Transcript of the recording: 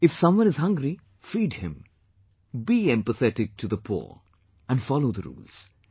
If someone is hungry, feed him, be empathetic to the poor, and follow the rules